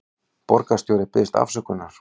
Borgarstjóri biðjist afsökunar